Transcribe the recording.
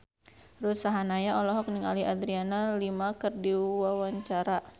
Ruth Sahanaya olohok ningali Adriana Lima keur diwawancara